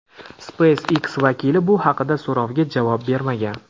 SpaceX vakili bu haqdagi so‘rovga javob bermagan.